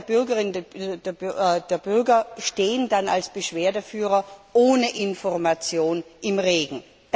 Die Bürgerin und der Bürger stehen dann als Beschwerdeführer ohne Information im Regen.